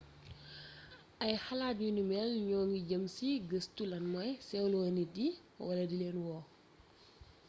ay xalaat yu ni mél ñoo ngi jeem ci gëstu lan mooy séwlo nit yi wala dilén wo